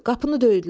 Qapını döydülər.